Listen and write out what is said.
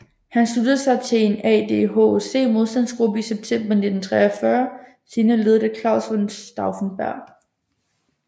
Han sluttede sig til en ad hoc modstandsgruppe i september 1943 senere ledet af Claus von Stauffenberg